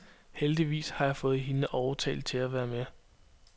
Heldigvis har jeg fået hende overtalt til at være med.